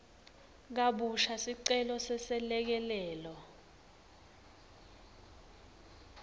kabusha sicelo seselekelelo